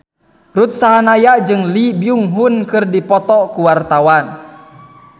Ruth Sahanaya jeung Lee Byung Hun keur dipoto ku wartawan